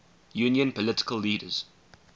union political leaders